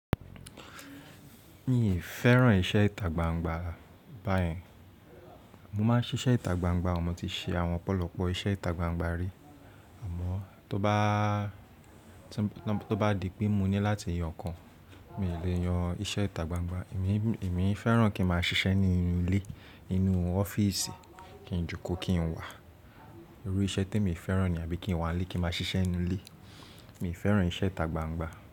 Miì fẹ́ràn iṣẹ́ ìtagbangba báyẹn Mo máa ń ṣiṣẹ́ ìtagbangba o, mo ti ṣe àwọn ọ̀pọ̀lọpọ̀ iṣẹ́ ìtagbangba rí. Àmọ́ tó bá di pé mo ní láti yan ọ̀kan, miì lè yan iṣẹ́ ìtagbangba. Èmi fẹ́ràn kí n máa ṣiṣẹ́ nínú ilé, nínú ọ́fíìsì kí n jókòó kí n wà. Irú iṣẹ́ témi fẹ́ràn nìyẹn àbí kí n wà ńlé kí n máa ṣiṣẹ́ ńnú ilé. Mi ò fẹ́ràn iṣẹ́ ìtagbangba.